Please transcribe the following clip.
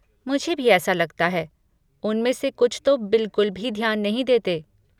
मुझे भी ऐसा लगता है, उनमें से कुछ तो बिलकुल भी ध्यान नहीं देते।